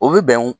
O bɛ bɛn